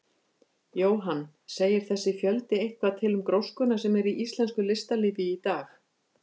Jóhann: Segir þessi fjöldi eitthvað til um gróskuna sem er í íslensku listalífi í dag?